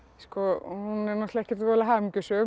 hún er náttúrulega ekkert voðalega hamingjusöm